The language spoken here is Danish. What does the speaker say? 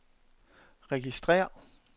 registrér